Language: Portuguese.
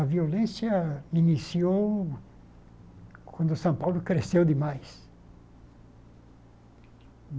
A violência iniciou quando São Paulo cresceu demais.